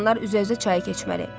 Qalanlar üzə-üzə çayı keçməli.